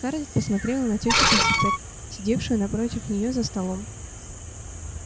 скарлетт посмотрела на тётю питтипэт сидевшую напротив нее за столом